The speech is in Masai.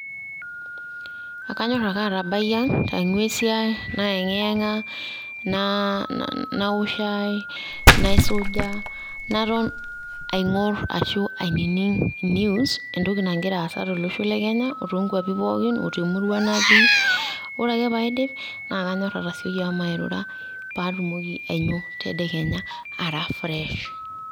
kanyorr ake atabai ang aingua esiai naengiyanga, naa naaok shai ,naisuja naton, aingorr ashu aining news entoki nangira asaa tolosho lekenya otonkuapi pooki o temurua naati, ore ake paidip na kanyorr atasioi ashomo airura patumoki ainyio tedekenya ara fresh.